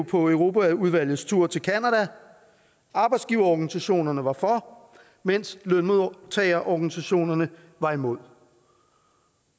på europaudvalgets tur til canada arbejdsgiverorganisationerne var for mens lønmodtagerorganisationerne var imod